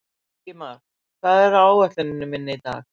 Ingimar, hvað er á áætluninni minni í dag?